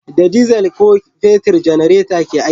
Da dizal ko fetir janareta ke aiki